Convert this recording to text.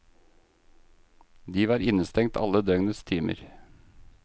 De var innestengt alle døgnets timer.